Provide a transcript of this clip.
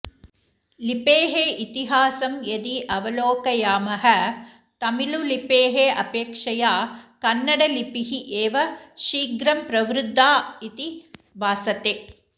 लिपेः इतिहासं यदि अवलोकयामः तमिलुलिपेः अपेक्षया कन्नडलिपिः एव शीघ्रं प्रवृद्धा इति भासते